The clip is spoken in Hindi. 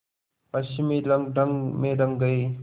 पश्चिमी रंगढंग में रंग गए